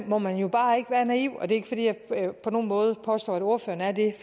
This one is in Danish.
må man jo bare ikke være naiv og det er jeg på nogen måde påstår at ordføreren er det